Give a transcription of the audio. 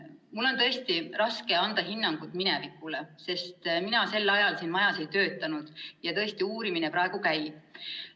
Mul on tõesti raske anda hinnangut minevikule, sest mina sel ajal selles majas ei töötanud ja tõesti uurimine praegu käib.